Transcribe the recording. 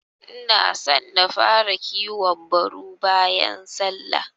Inaso na fara kiwon baru bayan sallah.